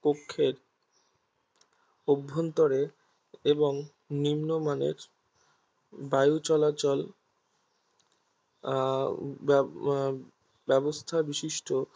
কক্ষের অভ্যন্তরে এবং নিম্নমানের বায়ুচলাচল আহ ব্যবস্থা বিশিষ্ট